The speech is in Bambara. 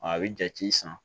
A bɛ jate san